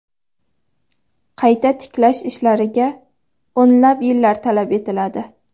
Qayta tiklash ishlariga o‘nlab yillar talab etiladi.